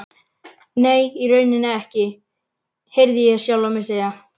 Nei, í rauninni ekki, heyrði ég sjálfan mig segja.